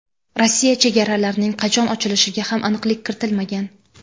Rossiya chegaralarining qachon ochilishiga ham aniqlik kiritilmagan.